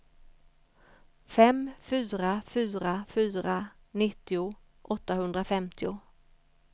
fem fyra fyra fyra nittio åttahundrafemtio